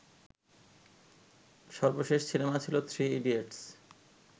সর্বশেষ সিনেমা ছিলো থ্রি ইডিয়টস